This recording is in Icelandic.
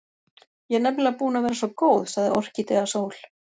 Ég er nefnilega búin að vera svo góð, sagði Orkídea Sól.